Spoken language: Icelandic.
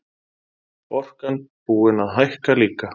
Orkan búin að hækka líka